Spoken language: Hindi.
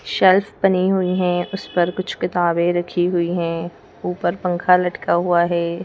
शेल्फ बनी हुई हैं उस पर कुछ किताबें रखी हुई हैं ऊपर पंखा लटका हुआ है।